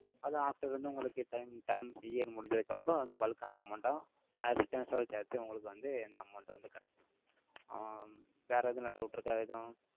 அது after வந்து, உங்களுக்கு time terms year முடிஞ்சதுக்கு அப்புறம், அது bulk ஆன amount ஆ, அத returns ஓட சேத்து உங்களுக்கு வந்து, இந்த amount வந்து கிடைக்கும். ஆஹ் வேற எதுனா doubt இருக்கா? எதுவும்.